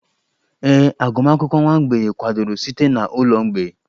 Ee, agụmakwụkwọ nwa mgbei kwadoro site na ụlọ mgbei